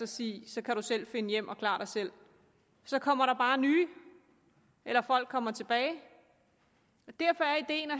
siger så kan du selv finde hjem og klare dig selv så kommer der bare nye eller folk kommer tilbage derfor er ideen at